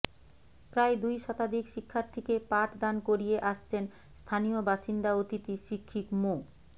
প্রায় দুই শতাধিক শিক্ষার্থীকে পাঠ দান করিয়ে আসছেন স্থানীয় বাসিন্দা অতিথি শিক্ষিক মো